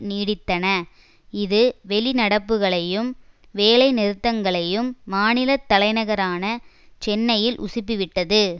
நீடித்தன இது வெளிநடப்புகளையும் வேலை நிறுத்தங்களையும் மாநில தலைநகரான சென்னையில் உசுப்பி விட்டது